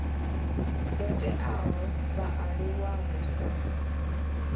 dzo teaho vhaaluwa hu sa